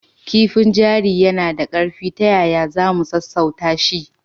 Kifin jari yana da ƙarfi. Ta yaya za mu sassauta shi?